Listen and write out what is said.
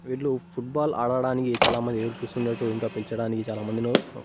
వీళ్ళు football ఆడడానికి చాలామంది ఉన్నట్టు ఇంకా పిల్చడానికి చాలామంది నో--